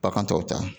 Bagan tɔw ta